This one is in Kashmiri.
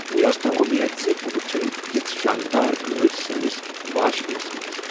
مےٚ ٲس نہٕ امید ز بہٕ وٕچھن یژھ شاندار گٲڑۍ سٲنس واش بے ہس منز۔